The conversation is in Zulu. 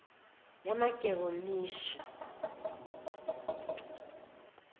yamageronishi